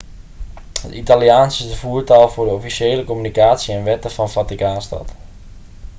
het italiaans is de voertaal voor de officiële communicatie en wetten van vaticaanstad